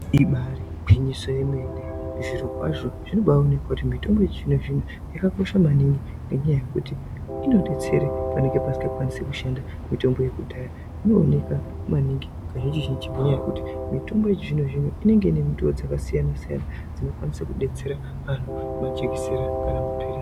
Ibari gwinyiso yemene zvirokwazvo zvinobaonekwa kuti mitombo yechizvino-zvino yakakosha maningi ngenyaya yekuti inobetsere panonga pasinga kwanisi kushanda mitombo yekudhaya. Inooneka maningi kazhinji-zhinji ngenyaya yekuti mitombo yechizvino-zvini inenge ine minduva dzakasiyana-siyana. Dzekubetsera antu majekisera kana maphirisi.